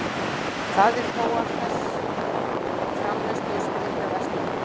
Það er þó af þess framleiðslu og striti að verslunin er til.